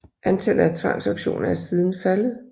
Antallet af tvangsauktioner er siden faldet